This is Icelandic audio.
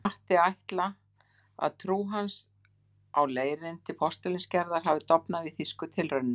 Mætti ætla, að trú hans á leirinn til postulínsgerðar hafi dofnað við þýsku tilraunirnar.